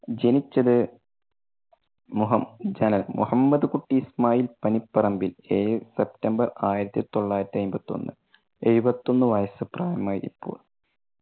ജനിച്ചത് മുഹ~മുഹമ്മദ് കുട്ടി ഇസ്മായിൽ പനിപറമ്പിൽ ഏഴ് september ആയിരത്തി തൊള്ളായിരത്തി അയിമ്പത്തൊന്ന് എഴുപത്തൊന്ന്. വയസ്സ് പ്രായം ആയി ഇപ്പോൾ.